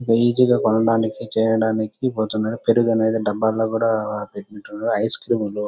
easy గా కొనడానికి చేయడానికి కొంచెం కడిగి పెట్టుంటారు డబ్బాల్లోనే ఐస్క్రీమ్ ల --